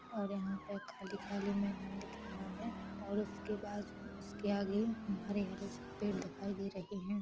और यहाँ पे खाली-खाली मैदान दिख रहा है और उसके बाद उसके आगे हरे-हरे पेड़ दिखाई दे रहे है।